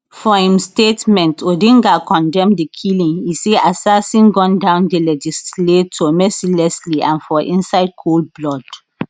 for im statement odinga condemn di killing e say assassin gun down di legislator mercilessly and for inside cold blood